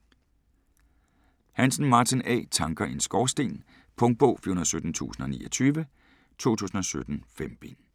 Hansen, Martin A.: Tanker i en Skorsten Punktbog 417029 2017. 5 bind.